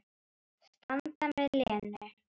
Standa með Lenu.